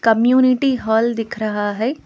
Community hall दिख रहा है।